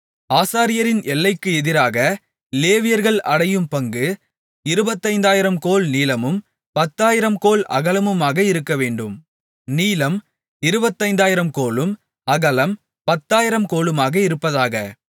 ஆசாரியரின் எல்லைக்கு எதிராக லேவியர்கள் அடையும் பங்கு இருபத்தைந்தாயிரம் கோல் நீளமும் பத்தாயிரம் கோல் அகலமுமாக இருக்கவேண்டும் நீளம் இருபத்தைந்தாயிரம் கோலும் அகலம் பத்தாயிரம் கோலுமாக இருப்பதாக